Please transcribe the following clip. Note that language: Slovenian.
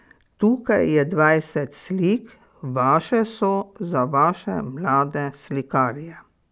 Tukaj je dvajset slik, vaše so, za vaše mlade slikarje.